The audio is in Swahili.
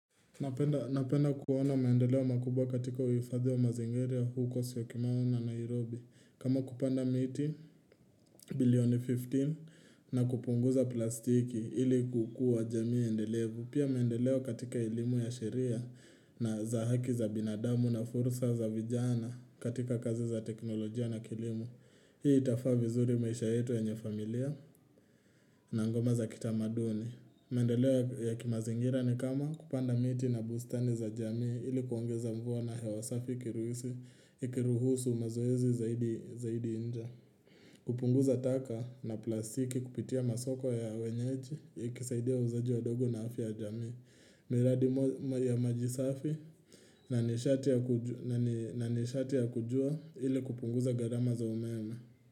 Napenda kuona maendeleo makubwa katika uhifadhi wa mazingira ya huko syokimau na Nairobi. Kama kupanda miti, billioni 15, na kupunguza plastiki ili kukua jamii endelevu. Pia maendeleo katika elimu ya sheria na za haki za binadamu na fursa za vijana katika kazi za teknolojia na kilimo. Hii itafaa vizuri maisha yetu yenye familia na ngoma za kitamaduni. Maendeleo ya kimazingira ni kama kupanda miti na bustani za jami ili kuongeza mvua na hewa safi ikiruhusu mazoezi zaidi zaidi inje kupunguza taka na plastiki kupitia masoko ya wenyeji ikisaidia uuzaji wadogo na afya ya jamii miradi ya maji safi na nishati na nishati ya kujua ili kupunguza gharama za umeme.